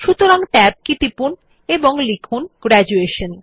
সুতরাং Tab কি টিপুন এবং লিখুন গ্র্যাজুয়েশন